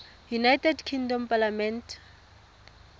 united kingdom parliament